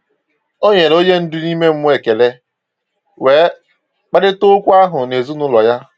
O nyere onye ndu ime mmụọ ekele, wee kparịta okwu ahụ na ezinụlọ ya.